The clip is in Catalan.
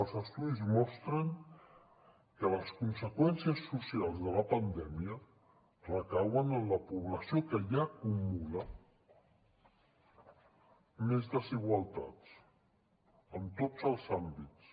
els estudis mostren que les conseqüències socials de la pandèmia recauen en la població que ja acumula més desigualtats en tots els àmbits